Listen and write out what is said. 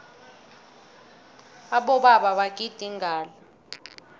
abobaba bagida ingadla